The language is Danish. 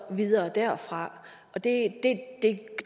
videre derfra og det